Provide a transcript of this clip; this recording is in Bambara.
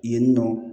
Yen nɔ